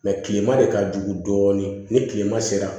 kilema de ka jugu dɔɔnin ni kilema sera